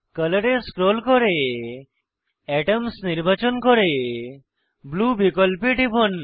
colour এ scroll করে atoms নির্বাচন করে ব্লু বিকল্পে টিপুন